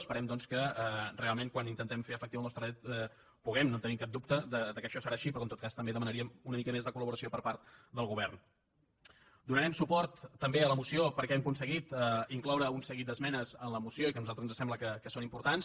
esperem doncs que realment quan intentem fer efectiu el nostre dret puguem no tenim cap dubte que això serà així però en tot cas també demanaríem una mica més de coldonarem suport també a la moció perquè hem aconseguit incloure un seguit d’esmenes en la moció que a nosaltres ens sembla que són importants